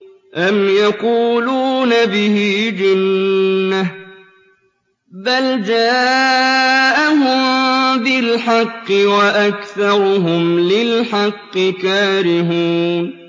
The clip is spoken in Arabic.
أَمْ يَقُولُونَ بِهِ جِنَّةٌ ۚ بَلْ جَاءَهُم بِالْحَقِّ وَأَكْثَرُهُمْ لِلْحَقِّ كَارِهُونَ